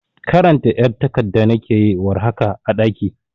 karanta ƴar tagadda nake yi war haka a daƙi